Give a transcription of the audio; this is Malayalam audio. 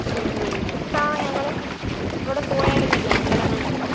ഇത്തവണ ഞങ്ങള് ഇവിടെ പോയാർന്നല്ലോ, അമ്പലങ്ങളിലൊക്കെ.